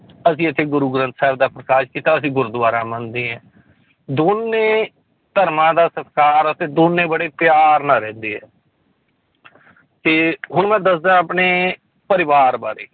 ਅਸੀਂ ਇੱਥੇ ਗੁਰੂ ਗ੍ਰੰਥ ਸਾਹਿਬ ਦਾ ਪ੍ਰਕਾਸ ਕੀਤਾ ਅਸੀਂ ਗੁਰਦੁਆਰਾ ਮੰਨਦੇ ਹਾਂ ਦੋਨੇਂ ਧਰਮਾਂ ਦਾ ਸਤਿਕਾਰ ਉੱਥੇ ਦੋਨੇਂ ਬੜੇ ਪਿਆਰ ਨਾਲ ਰਹਿੰਦੇ ਹੈ ਤੇ ਹੁਣ ਮੈਂ ਦੱਸਦਾਂ ਆਪਣੇ ਪਰਿਵਾਰ ਬਾਰੇ